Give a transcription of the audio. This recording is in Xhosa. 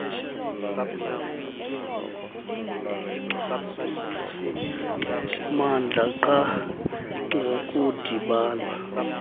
mmandla qha ngokudibana